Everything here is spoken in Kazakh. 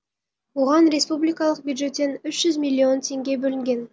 оған республикалық бюджеттен үш жүз миллион теңге бөлінген